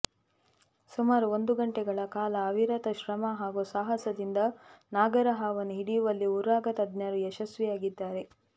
ಸುಮಾರು ಒಂದು ಗಂಟೆಗಳ ಕಾಲ ಅವಿರತ ಶ್ರಮ ಹಾಗೂ ಸಾಹಸದಿಂದ ನಾಗರಹಾವನ್ನು ಹಿಡಿಯುವಲ್ಲಿ ಉರಗತಜ್ಞರು ಯಶಸ್ವಿಯಾಗಿದ್ದಾರೆ